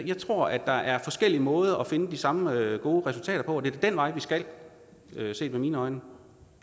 jeg tror at der er forskellige måder at finde de samme gode resultater på og det er den vej vi skal set med mine øjne